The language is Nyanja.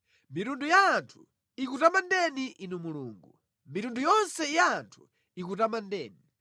Mitundu ya anthu ikutamandeni Inu Mulungu; mitundu yonse ya anthu ikutamandeni.